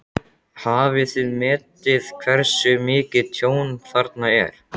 Hafið þið metið hversu mikið tjón þarna er?